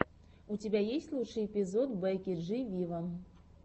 у тебя есть лучший эпизод бекки джи виво